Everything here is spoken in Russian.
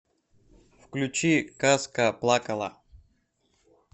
включи казка плакала